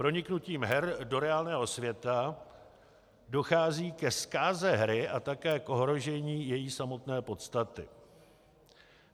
Proniknutím her do reálného světa dochází ke zkáze hry a také k ohrožení její samotné podstaty.